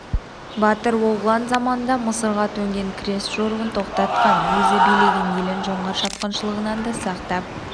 батыр оғлан заманында мысырға төнген крест жорығын тоқтатқан өзі билеген елін жоңғар шапқыншылығынан да сақтап